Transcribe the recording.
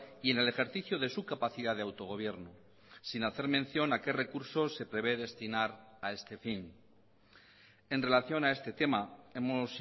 y en el ejercicio de su capacidad de autogobierno sin hacer mención a qué recursos se prevé destinar a este fin en relación a este tema hemos